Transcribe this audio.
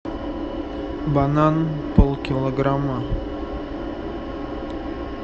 банан полкилограмма